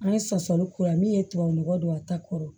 An ye sasɔn kura min ye tubabu nɔgɔ don a ta kɔrɔ